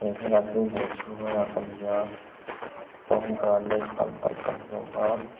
he thlalak hi dawr chhunga lak a ni a pomegranate tam tak kan hmu a.